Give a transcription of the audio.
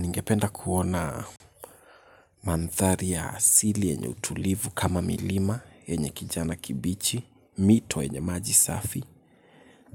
Ningependa kuona manthari ya asili yenye utulivu kama milima yenye kijana kibichi, mito yenye maji safi,